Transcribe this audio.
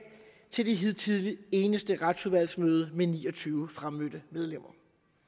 til det hidtil eneste retsudvalgsmøde med ni og tyve fremmødte medlemmer